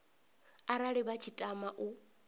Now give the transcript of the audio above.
arali vha tshi tama u